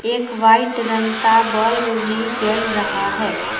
एक वाइट रंग का बल्ब भी जल रहा है।